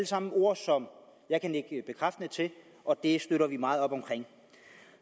sammen ord som jeg kan nikke bekræftende til og det støtter vi meget op om